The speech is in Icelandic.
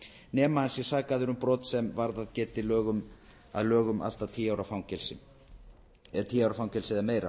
nema hann sé sakaður um brot sem varðað geti að lögum tíu ára fangelsi eða meira